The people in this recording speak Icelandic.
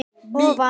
að breidd ofan.